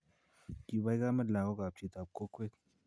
Kipai kamet lakokap chitap kokwet